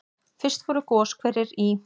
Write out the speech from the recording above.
Fyrst voru goshverir í